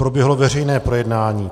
Proběhlo veřejné projednání.